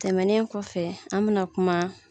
Tɛmɛnen kɔfɛ an bɛ na kuma